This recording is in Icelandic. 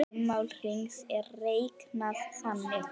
Ummál hrings er reiknað þannig